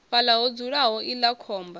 fhaḽa ho dzulaho iḽla khomba